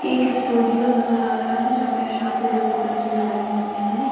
एक स्टूडियो नजर आ रहा है जहां फैशन से जुड़े तस्वीर लगी हुई है।